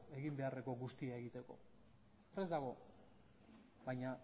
egin beharreko guztia egiteko prest dago baina